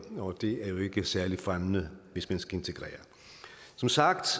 og det er jo ikke særlig fremmende hvis man skal integrere som sagt